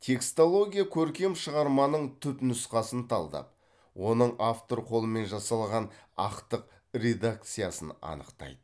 текстология көркем шығарманың түпнұсқасын талдап оның автор қолымен жасалған ақтық редакциясын анықтайды